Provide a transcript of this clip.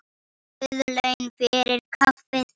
Guð laun fyrir kaffið.